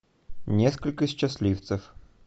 несколько счастливцев